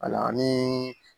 Ayiwa ni